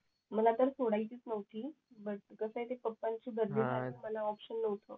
मला तर सोडायचीच नव्हती बट कसंय ते पप्पांची बदली झालेली मला ऑपशन नव्हत